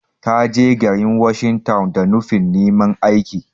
Ta je garin washing town da nufin neman aiki.